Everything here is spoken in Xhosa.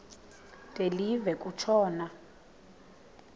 de live kutshona